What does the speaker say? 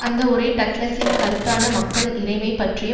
அந்த உரை டக்ளஸின் கருத்தான மக்கள் இறைமை பற்றிய